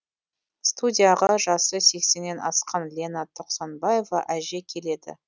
студияға жасы сексеннен асқан лена тоқсанбаева әже келеді